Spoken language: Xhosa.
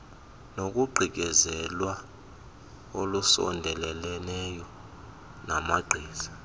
nokugqityezelwa olusondeleleneyo namagqiza